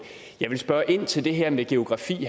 jeg vil spørge ind til det her med geografi